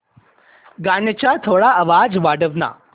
गाण्याचा थोडा आवाज वाढव ना